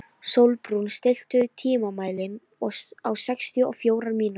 Sólbrún, stilltu tímamælinn á sextíu og fjórar mínútur.